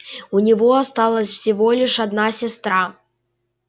у него осталась всего лишь одна сестра